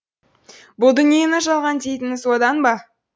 бұл дүниені жалған дейтіні содан ба